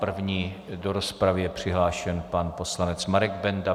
První do rozpravy je přihlášen pan poslanec Marek Benda.